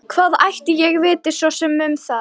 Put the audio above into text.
Hvað ætli ég viti svo sem um það.